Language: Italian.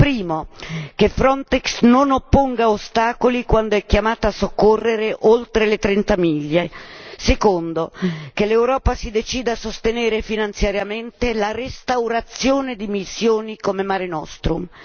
Primo, che Frontex non opponga ostacoli quando è chiamata a soccorrere oltre le 30 miglia. Secondo, che l'Europa si decida a sostenere finanziariamente la restaurazione di missioni come Mare Nostrum.